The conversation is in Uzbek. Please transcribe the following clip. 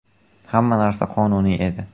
Hamma narsa qonuniy edi.